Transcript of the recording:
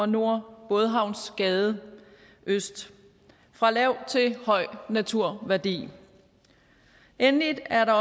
nord og bådehavnsgade øst fra lav til høj naturværdi endelig er der